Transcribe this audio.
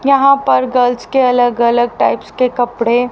यहाँ पर गर्ल्स के अलग-अलग टाइप्स के कपड़े --